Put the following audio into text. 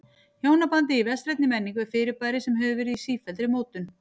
Hjónabandið í vestrænni menningu er fyrirbæri sem hefur verið í sífelldri mótun.